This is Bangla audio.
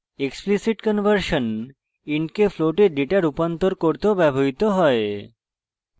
explicit conversion int কে float এ ডেটা রূপান্তর করতেও ব্যবহৃত হয়